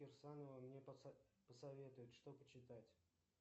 кирсанова мне посоветует что читать